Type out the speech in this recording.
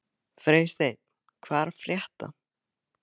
Freysteinn, hvað er að frétta?